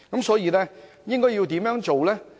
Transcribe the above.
所以，應該要怎樣做呢？